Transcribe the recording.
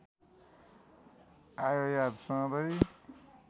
आयो याद सधैँ